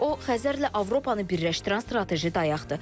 O Xəzərlə Avropanı birləşdirən strateji dayaqdır.